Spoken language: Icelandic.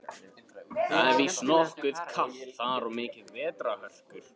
Það er víst nokkuð kalt þar og miklar vetrarhörkur.